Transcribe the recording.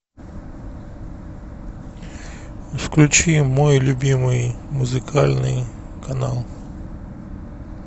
включи мой любимый музыкальный канал